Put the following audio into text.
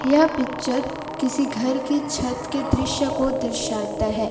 यह पिक्चर किसी घर की छत के दृश्य को दर्शाता है।